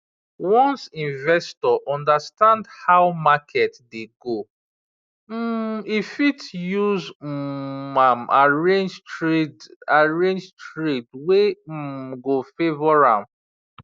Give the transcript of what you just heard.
once investor understand how market dey go um e fit use um am arrange trade arrange trade wey um go favour am